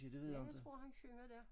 Ja jeg tror han synger dér